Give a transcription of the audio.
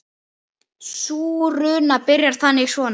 Sú runa byrjar þannig svona